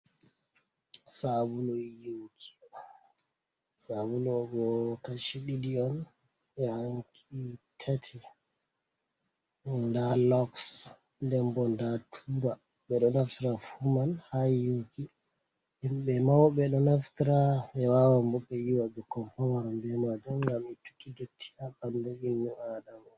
Sabulu yiwuki, sabulu bo kashi ɗiɗi on yahanki tati, nda loks, den bo nda tura, ɓe ɗo naftira fu man ha yaki himɓɓe mauɓe ɗo naftira be wawa bo ɓe yiwa ɓukkoi pamaron ɓe majum, ngam itukki dotti ha ɓandu imnu adama.